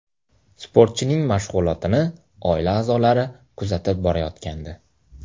Sportchining mashg‘ulotini oila a’zolari kuzatib borayotgandi.